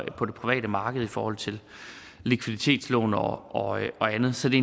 private marked i forhold til likviditetslån og andet så det